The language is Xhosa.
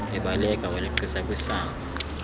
ebaleka waleqisa kwisango